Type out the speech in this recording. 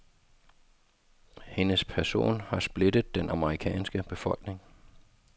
Hendes person har splittet den amerikanske befolkning.